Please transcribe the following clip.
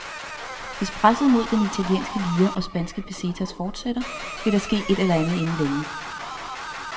Hvis presset mod den italienske lire og spanske pesetas fortsætter, vil der ske et eller anden inden længe.